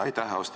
Aitäh!